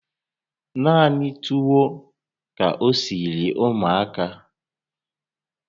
Naanị tuwo ka o siri ụmụaka